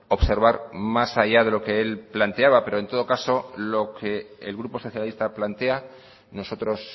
observar más allá de lo que él planteaba pero en todo caso lo que el grupo socialista plantea nosotros